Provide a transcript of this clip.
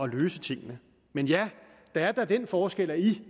løse tingene men ja der er da den forskel at i